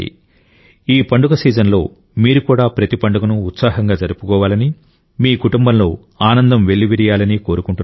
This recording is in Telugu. ఈ పండగ సీజన్లో మీరు కూడా ప్రతి పండుగను ఉత్సాహంగా జరుపుకోవాలని మీ కుటుంబంలో ఆనందం వెల్లివిరియాలని కోరుకుంటున్నాను